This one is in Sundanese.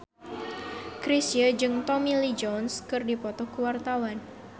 Chrisye jeung Tommy Lee Jones keur dipoto ku wartawan